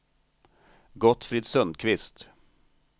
Gottfrid Sundqvist